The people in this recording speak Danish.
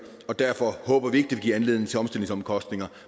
og derfor håber vi ikke det vil give anledning til omstillingsomkostninger